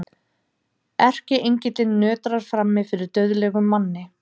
Erkiengillinn nötrar frammi fyrir dauðlegum manni.